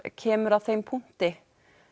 kemur að þeim punkti